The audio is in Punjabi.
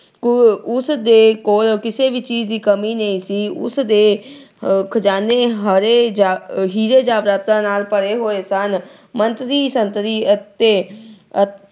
ਉਸ ਦੇ ਕੋਲ ਕਿਸੇ ਵੀ ਚੀਜ ਦੀ ਕਮੀ ਨਹੀਂ ਸੀ। ਉਸ ਦੇ ਆਹ ਖਜਾਨੇ ਹਰੇ ਅਹ ਹੀਰੇ ਜਾਇਦਾਦਾਂ ਨਾਲ ਭਰੇ ਹੋਏ ਸਨ। ਮੰਤਰੀ ਸੰਤਰੀ ਅਤੇ